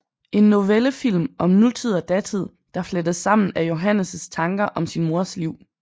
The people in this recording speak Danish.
En novellefilm om nutid og datid der flettes sammen af Johannes tanker om sin mors liv